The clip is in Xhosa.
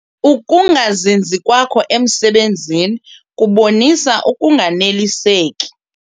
Uukungazinzi kwakho emisebenzini kubonisa ukunganeliseki.